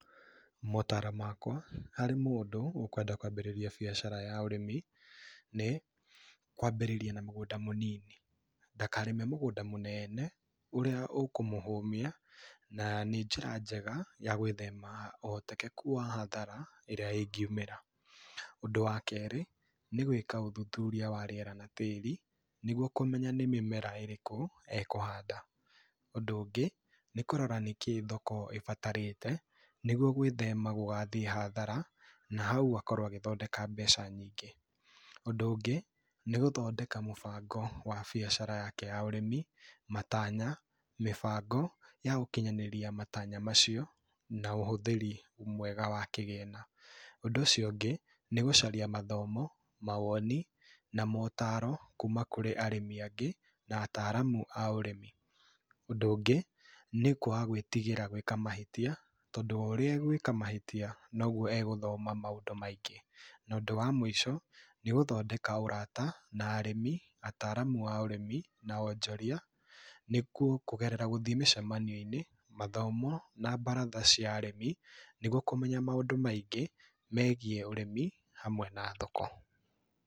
Motaaro makwa, harĩ mũndũ, ũkwenda kwabĩrĩria biacara ya ũrĩmi, nĩ kwambĩrĩria na mũgũnda mũnini. Ndakarĩme mũgũnda mũnene, ũrĩa ũkũmũhũmia, na nĩ njĩra njega ya gwĩthema ũhotekeku wa hathara ĩrĩa ĩngiũmĩra. Ũndũ wa keerĩ, nĩ gwĩka ũthũthũria wa rĩera na tĩĩri, nĩguo kũmenya nĩ mĩmera ĩrĩkũ ekũhanda. Ũndũ ũngĩ, nĩ kũrora nĩkĩ thoko ĩbatarĩte, nĩguo gwĩthema gũgathiĩ hathara, na haũ akorwo agĩthodeka mbeca nyingĩ. Ũndũ ũngĩ, nĩ gũthodeka mũbango wa biacara yake ya ũrĩmi, matanya, mĩbango, ya gũkinyanĩria matanya macio na ũhũthĩri mwega wa kĩgĩna. Ũndũ ũcio ũngĩ, nĩ gũcaria mathomo, mawoni, na motaaro kũma kũrĩ arĩmi angĩ, na ataaramu a ũrĩmi. Ũndũ ũngĩ, nĩ kwaga gwĩtigĩra gwĩka mahĩtia, tondũ o ũrĩa egwĩka mahĩtia noguo egũthoma maũndũ maingĩ. Na ũndũ wa mũico, nĩ gũthodeka ũrata na arĩmi, ataramu a ũrĩmi, na onjoria, nĩkuo kũgerera gũthiĩ mĩcemanio-inĩ, mathomo na baratha cia arĩmi, nĩguo kũmenya maũndũ maingĩ megiĩ ũrĩmi hamwe na thoko.